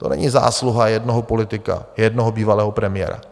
To není zásluha jednoho politika, jednoho bývalého premiéra.